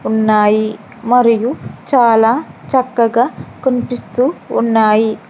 ఉన్నాయి మరియు చాలా చక్కగా కన్పిస్తూ ఉన్నాయి.